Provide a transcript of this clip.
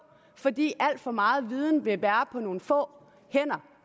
fordi alt for meget viden vil være på nogle få hænder